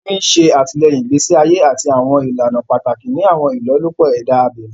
Omi ṣe àtìlẹ́yìn ìgbésí ayé àti àwọn ìlànà pàtàkì ni àwọn ìlọ́lúpọ̀ ẹ̀dá abẹ̀mí